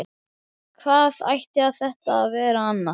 Hvað ætti þetta að vera annað?